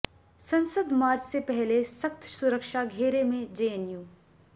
संसद मार्च से पहले सख्त सुरक्षा घेरे में जेएनयू